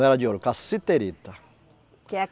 Não era de ouro, Cassiterita. que é